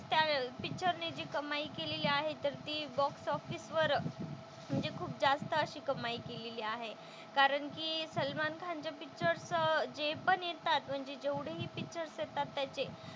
पिक्चरने जी कमाई केलेली आहे तर ती बॉक्स ऑफिस वर म्हणजे खूप जास्त अशी कमाई केलेली आहे. कारण की सलमान खानचे पिक्चरचं जे पण येतात म्हणजे जेवढे पिक्चर्स येतात त्याचे,